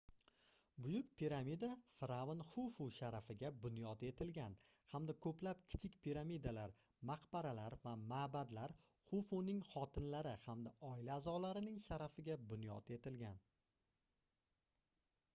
buyuk piramida firʼavn xufu sharafiga bunyod etilgan hamda koʻplab kichik piramidalar maqbaralar va maʼbadlar xufuning xotinlari hamda oila aʼzolarining sharafiga bunyod etilgan